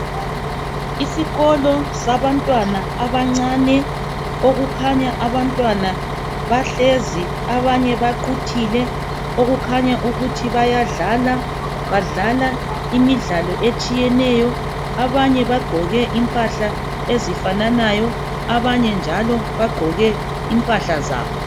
Isikolo sabantwana abancane, okukhanya abantwana bahlezi abanye baquthile okukhanya ukuthi bayadlala, badlala imidlalo etshiyeneyo. Abanye bagqoke impahla ezifananayo, abanye njalo bagqoke impahla zabo.